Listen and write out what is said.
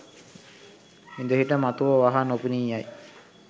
ඉඳහිට මතුව වහා නොපෙනී යයි